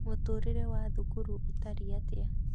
Mũtũrĩre wa thukuru ũtariĩ atĩa?